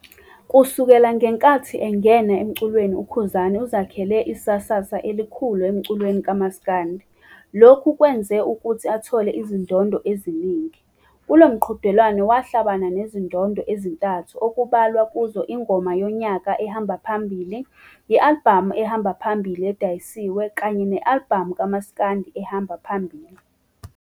Kusukela ngenkathi engena emculweni uKhuzani uzakhele isasa elikhulu emculweni kama'skandi, lokhu kwenza ukuthi athole azindodo eziningi. Kulomqudelwano wahlabana nezindondo ezintathu okubalwa kuzo Ingoma Yonyaka ehamba phambili, i-alibhamu ehamba phambili edayisiwe, i-alibhamu kamas'kandi ehamba phambili